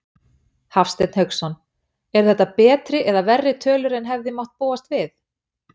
Hafsteinn Hauksson: Eru þetta betri eða verri tölur en hefði mátt búast við?